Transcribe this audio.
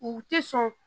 U ti sɔn